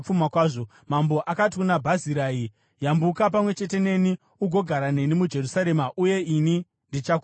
Mambo akati kuna Bhazirai, “Yambuka pamwe chete neni ugogara neni muJerusarema, uye ini ndichakuriritira.”